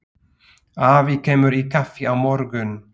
Afi kemur í kaffi á morgun.